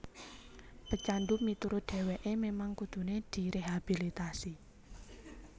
Pecandu miturut dheweké memang kuduné direhabilitasi